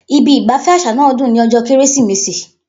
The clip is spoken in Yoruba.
Ibi ìgbafẹ́ àṣà náà dùn ní ọjọ́ Kérésìmesì.